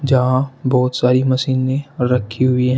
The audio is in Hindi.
जहां बहुत सारी मशीनें रखी हुई हैं।